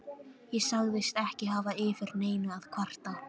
Ég sagðist ekki hafa yfir neinu að kvarta.